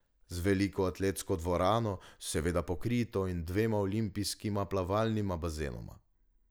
Z veliko atletsko dvorano, seveda pokrito, in dvema olimpijskima plavalnima bazenoma.